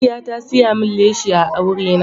Aisha ta siya min leshi a aure na.